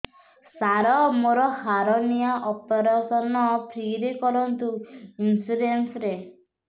ସାର ମୋର hernia operation free ରେ କରନ୍ତୁ ଇନ୍ସୁରେନ୍ସ ରେ